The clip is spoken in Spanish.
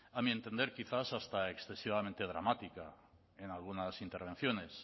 a mi entender quizás hasta excesivamente dramática en algunas intervenciones